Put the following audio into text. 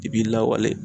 I b'i lawale